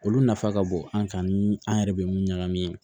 Olu nafa ka bon an kan ni an yɛrɛ bɛ mun ɲagami